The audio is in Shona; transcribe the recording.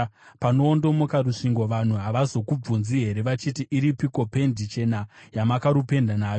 Panoondomoka rusvingo vanhu havazokubvunzi here vachiti, “Iripiko pendi chena yamakarupenda nayo?”